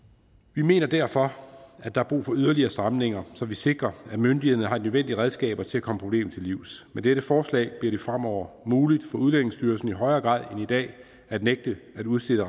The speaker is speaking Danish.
vi mener derfor at der er brug for yderligere stramninger så vi sikrer at myndighederne har de nødvendige redskaber til at komme problemet til livs med dette forslag bliver det fremover muligt for udlændingestyrelsen i højere grad end i dag at nægte at udstede